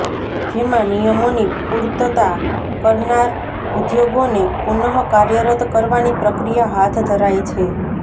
જેમાં નિયમોની પૂર્તતા કરનાર ઉદ્યોગોને પુનઃ કાર્યરત કરવાની પ્રક્રિયા હાથ ધરાય છે